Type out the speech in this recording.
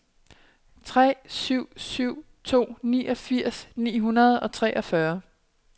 tre syv syv to niogfirs ni hundrede og treogfyrre